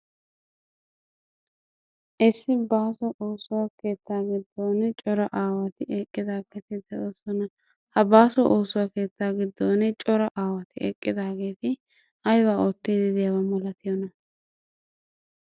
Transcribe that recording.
Isso baaso ooso keetta giddoni issi coraa aawati eqqidaaageeti de'oosona. Ha baaso ooso keettaa giddoni cora aawati eqqidaageeti ayiba oottiiddi di"iyaba malatiyoona?